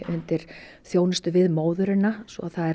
undir þjónustu við móðurina svo það er